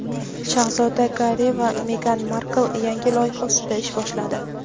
Shahzoda Garri va Megan Markl yangi loyiha ustida ish boshladi.